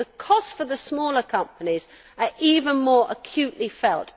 So the costs for the smaller companies are even more acutely felt.